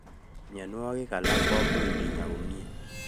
Mionwogik alak komuch kinya komnye